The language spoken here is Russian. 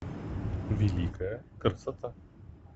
великая красота